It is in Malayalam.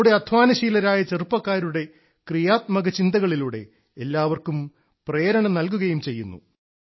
നമ്മുടെ അധ്വാനശീലരായ ചെറുപ്പക്കാരുടെ ക്രിയാത്മക ചിന്തകളിലൂടെ എല്ലാവർക്കും പ്രേരണ നൽകുകയും ചെയ്യുന്നു